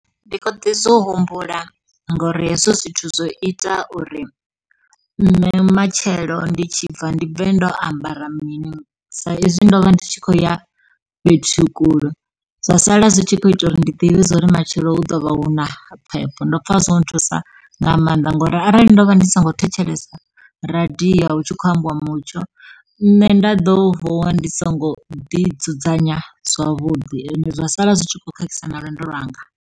Ndi khou ḓi zwi humbula ngauri hezwo zwithu zwo ita uri nṋe matshelo ndi tshi bva ndi bve ndo ambara mini, sa izwi ndo vha ndi tshi khou ya fhethu kule. Zwa sala zwi tshi khou ita uri ndi ḓivhe zwa uri matshelo hu ḓo vha huna phepho, ndo pfa zwo nthusa nga maanḓa ngauri arali ndo vha ndi songo thetshelesa radio hu tshi khou ambiwa mutsho. Nṋe nda ḓo vuwa ndi songo ḓi dzudzanya zwavhuḓi, ende zwa sala zwi tshi khou khakhisa na lwendo lwanga.